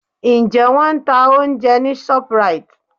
Ǹjẹ́ Wọ́n ń ta oúnjẹ ní Shoprite?